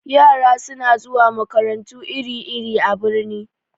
Yara suna zuwa makarantu iri-iri a birni.